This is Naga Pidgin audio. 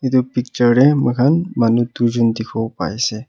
etu picture te moi khan manu dui jon dikhibo pai ase.